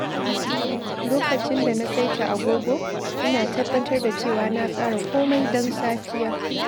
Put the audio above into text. Lokacin da na saita agogo, ina tabbatar da cewa na tsara komai don safiya.